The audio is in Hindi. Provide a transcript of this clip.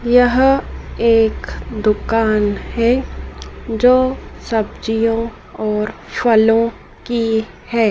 यहं एक दुकान हैं जो सब्जियां और फलों की हैं।